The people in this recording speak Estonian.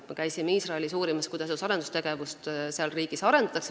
Me käisime Iisraelis uurimas, kuidas seal riigis teadus- ja arendustegevust arendatakse.